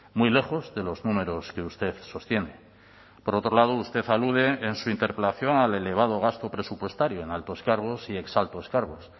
muy lejos de los números que usted sostiene por otro lado usted alude en su interpelación al elevado gasto presupuestario en altos cargos y exaltos cargos